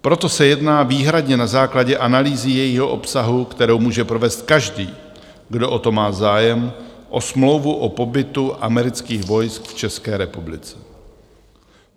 Proto se jedná výhradně na základě analýzy jejího obsahu, kterou může provést každý, kdo o to má zájem, o smlouvu o pobytu amerických vojsk v České republice.